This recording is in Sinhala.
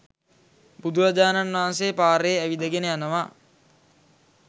බුදුරජාණන් වහන්සේ පාරේ ඇවිදගෙන යනවා.